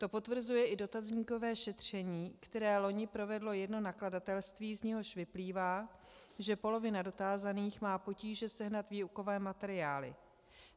To potvrzuje i dotazníkové šetření, které loni provedlo jedno nakladatelství, z něhož vyplývá, že polovina dotázaných má potíže sehnat výukové materiály.